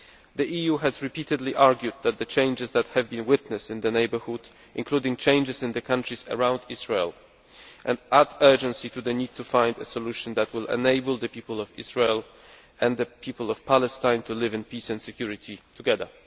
The EU has repeatedly argued that the changes that have been witnessed in the neighbourhood, including changes in the countries around Israel, add urgency to the need to find a solution that will enable the people of Israel and the people of Palestine to live in peace and security together.